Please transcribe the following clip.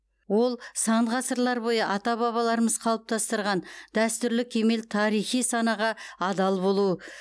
ол сан ғасырлар бойы ата бабаларымыз қалыптастырған дәстүрлі кемел тарихи санаға адал болу